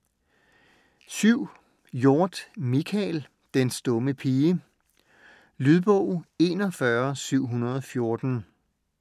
Hjorth, Michael: Den stumme pige Lydbog 41714